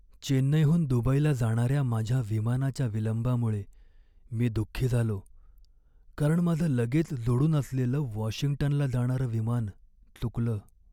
चेन्नईहून दुबईला जाणाऱ्या माझ्या विमानाच्या विलंबामुळे मी दुःखी झालो, कारण माझं लगेच जोडून असलेलं वॉशिंग्टनला जाणारं विमान चुकलं.